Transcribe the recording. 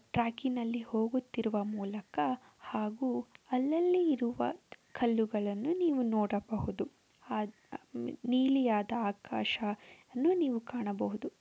ಟ್ರ್ಯಾಕಿನಲ್ಲಿ ಹೋಗುತ್ತಿರುವ ಮೂಲಕ ಹಾಗೂ ಅಲ್ಲಲ್ಲಿ ಇರುವ ಕಲ್ಲುಗಳನ್ನು ನೀವು ನೋಡಬಹುದು. ನೀಲಿ ಆದ ಆಕಾಶ ನೀವು ಕಾಣಬಹುದು .